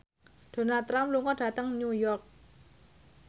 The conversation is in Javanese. Donald Trump lunga dhateng New York